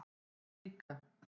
Við líka